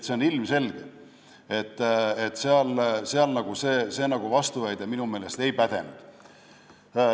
Nii et see vastuväide minu meelest ei pädenud.